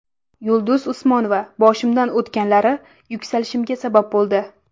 Yulduz Usmonova: Boshimdan o‘tganlari yuksalishimga sabab bo‘ldi.